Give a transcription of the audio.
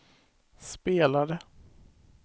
spelade